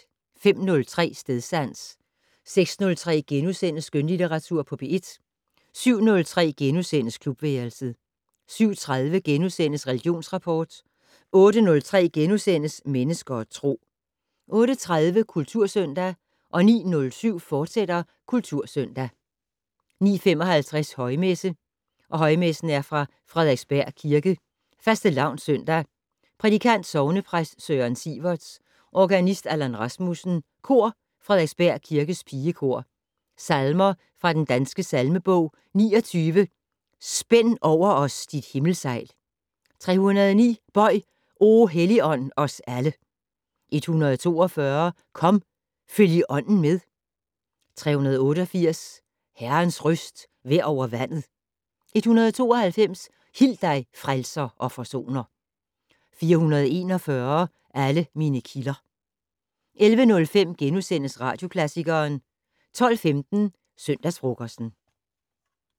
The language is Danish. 05:03: Stedsans 06:03: Skønlitteratur på P1 * 07:03: Klubværelset * 07:30: Religionsrapport * 08:03: Mennesker og Tro * 08:30: Kultursøndag 09:07: Kultursøndag, fortsat 09:55: Højmesse - Højmesse fra Frederiksberg Kirke. Fastelavnssøndag. Prædikant: sognepræst Søren Siverts. Organist: Allan Rasmussen. Kor: Frederiksberg Kirkes pigekor. Salmer fra Den Danske Salmebog: 29 "Spænd over os dit himmelsejl". 309 "Bøj, o Helligånd, os alle". 142 "Kom, følg i Ånden med". 388 "Herrens røst vær over vandet". 192 "Hil dig, frelser og forsoner". 441 "Alle mine kilder". 11:05: Radioklassikeren * 12:15: Søndagsfrokosten